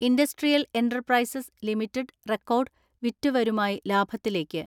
Industrial enterprises limited record വിറ്റുവരുമായി ലാഭത്തിലേക്ക്.